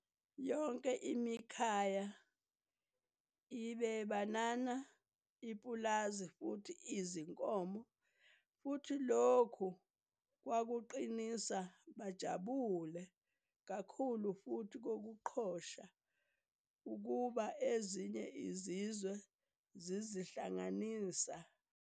Yonke imikhaya ibe banana ipulazi futhi izinkomo futhi lokhu kwakuqinisa bajabule kakhulu futhi kokuqhosha ukuba ezinye izizwe zizihlanganisa futhi